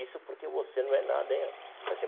Isso porque você não é nada, hein?